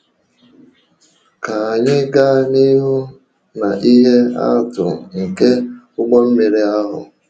Ka anyị gaa n’ihu na ihe atụ nke ụgbọ mmiri ahụ.